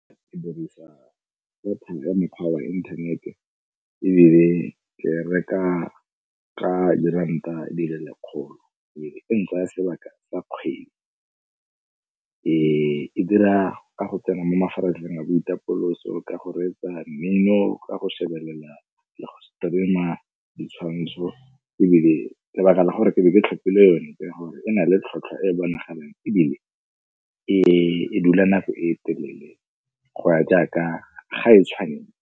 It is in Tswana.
Ke dirisa data ya mekgwa wa internet-e ebile ke e reka ka diranta di le lekgolo ebile e ntsaya sebaka sa kgwedi. E dira ka go tsena mo mafaratlhatlheng a boitapoloso, ka go reetsa mmino, ka go shebelela le go stream-a ditshwantsho ebile lebaka la gore ke be ke tlhopile yone ya gore e na le tlhotlhwa e bonagalang ebile e dula nako e telele go ya jaaka ga e .